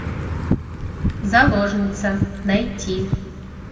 заложница найти